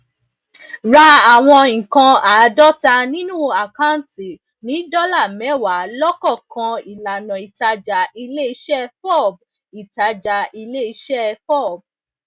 ra awon nnkan aadota ninu akanti ni dola mewaa lokookan ilana itaja ileise fob itaja ileise fob